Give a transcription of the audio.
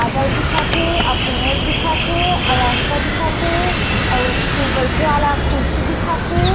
बादल दिखत हे अउ पेड़ दिखत हे अउ रास्ता दिखत हे अउ बैठे वाला खुर्सि दिखत हे।